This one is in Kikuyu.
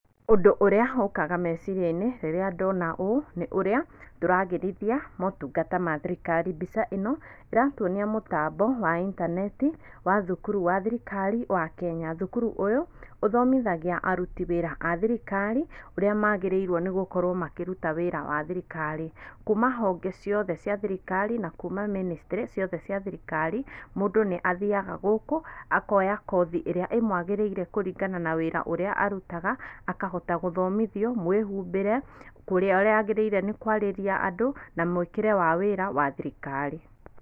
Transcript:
Ũndũ ũrĩa ũkaga meciria-inĩ rĩrĩa ndona ũũ nĩ ũrĩa tũragĩrithia motungata ma thirikari. Mbica ĩno ĩratuonia mũtambo wa intaneti wa thukuru wa thirikari wa Kenya. Thukuru ũyũ ũthomithagia aruti wĩra a thirikari, ũrĩa magĩrĩirwo nĩgũkorwo makĩruta wĩra wa thirikari kuma honge ciothe cia thirikari, na kuma ministry ciothe cia thirikari. Mũndũ nĩathiaga gũkũ akoya kothi ĩrĩa imwagĩrĩire kũringana na wĩra ũrĩa arutaga, akahota gũthomithio mwĩhumbĩre, kũrĩ ũrĩa agĩrĩire kwarĩria andũ na mwĩkĩre wa wĩra wa thirikari.